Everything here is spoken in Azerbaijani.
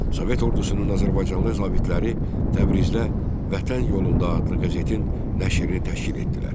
Sovet ordusunun azərbaycanlı zabitləri Təbrizdə "Vətən yolunda" adlı qəzetin nəşrini təşkil etdilər.